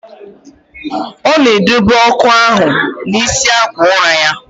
Ọ na edobe ọkụ ahụ n'isi akwa ụra ya.